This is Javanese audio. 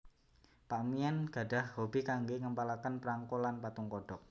Pak Mien gadhah hobi kanggé ngempalaken prangko lan patung kodhok